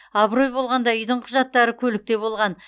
абырой болғанда үйдің құжаттары көлікте болған